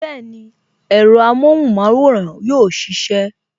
Bẹẹni, ẹ̀rọ amohun maworan yóò sisẹ